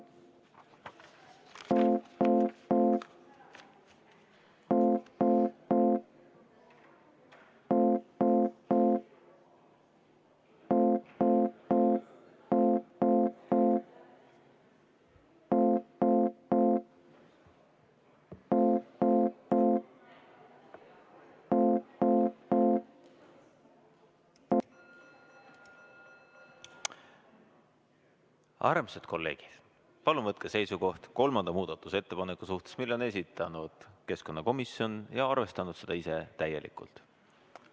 Armsad kolleegid, palun võtke seisukoht kolmanda muudatusettepaneku suhtes, mille on esitanud keskkonnakomisjon ja arvestanud seda ise täielikult.